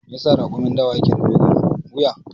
Me yasa raƙumin dawa yake da dogon wuya?